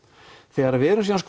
þegar við erum síðan